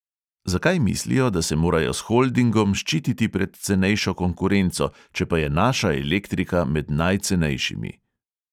Zakaj mislijo, da se morajo s holdingom ščititi pred cenejšo konkurenco, če pa je naša elektrika med najcenejšimi.